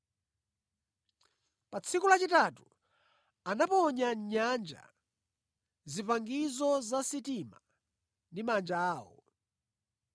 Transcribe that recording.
Pa tsiku lachitatu anaponya mʼnyanja zipangizo za mʼsitima ndi manja awo.